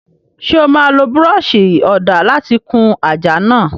Ṣé o máa lo búrọ́ọ̀ṣì ọ̀dà láti kun àjà náà?